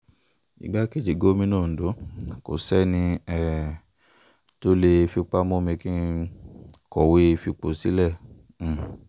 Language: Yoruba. igbákejì gómìnà ondo kò sẹ́ni um tó lè fipá mú mi kọ̀wé fipò sílẹ̀ um